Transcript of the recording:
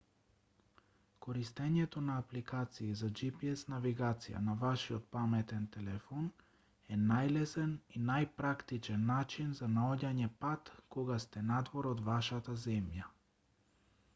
користењето на апликации за gps навигација на вашиот паметен телефон е најлесен и најпрактичен начин за наоѓање пат кога сте надвор од вашата земја